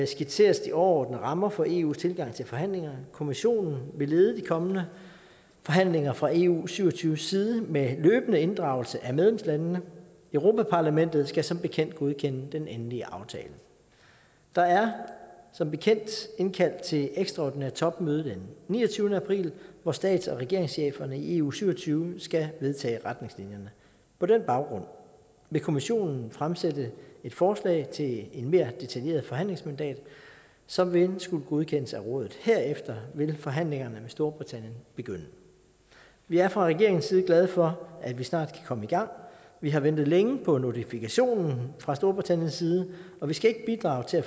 skitseres de overordnede rammer for eus tilgang til forhandlingerne kommissionen vil lede de kommende forhandlinger fra eu syv og tyve side med løbende inddragelse af medlemslandene og europa parlamentet skal som bekendt godkende den endelige aftale der er som bekendt indkaldt til ekstraordinært topmøde den niogtyvende april hvor stats og regeringscheferne i eu syv og tyve skal vedtage retningslinjerne på den baggrund vil kommissionen fremsætte et forslag til et mere detaljeret forhandlingsmandat som vil skulle godkendes af rådet herefter vil forhandlingerne med storbritannien begynde vi er fra regeringens side glade for at vi snart kan komme i gang vi har ventet længe på notifikationen fra storbritanniens side og vi skal ikke bidrage til at